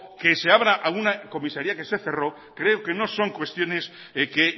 que se abra a una comisaría que se cerró creo que no son cuestiones que